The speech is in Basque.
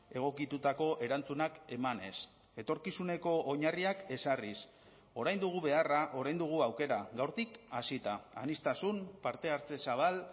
egokitutako erantzunak emanez etorkizuneko oinarriak ezarriz orain dugu beharra orain dugu aukera gaurtik hasita aniztasun parte hartze zabal